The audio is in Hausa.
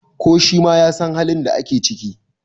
ko shi ma ya San halin da ake ciki!